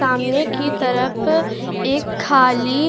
सामने की तरफ एक खाली --